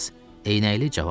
Eynəkli cavab verdi.